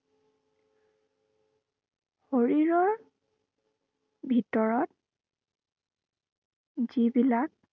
শৰীৰৰ ভিতৰত যি বিলাক